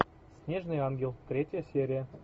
снежный ангел третья серия